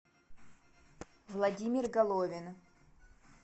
владимир головин